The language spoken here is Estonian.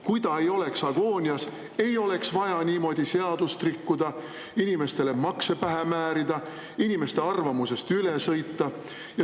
Kui ta ei oleks agoonias, ei oleks vaja niimoodi seadust rikkuda, inimestele makse pähe määrida, inimeste arvamusest üle sõita.